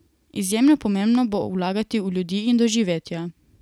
Izjemno pomembno bo vlagati v ljudi in doživetja.